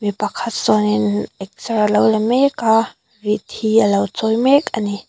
mi pakhat sawnin excer a lo la mek a rit hi a lo chawi mek ani.